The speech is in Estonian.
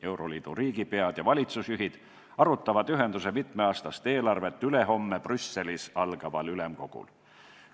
Euroliidu riigipead ja valitsusjuhid arutavad ühenduse mitmeaastast eelarvet ülehomme Brüsselis algaval ülemkogul.